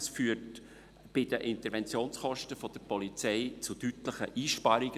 Das führt bei den Interventionskosten der Polizei zu deutlichen Einsparungen.